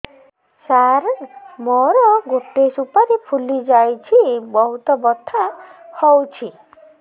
ସାର ମୋର ଗୋଟେ ସୁପାରୀ ଫୁଲିଯାଇଛି ବହୁତ ବଥା ହଉଛି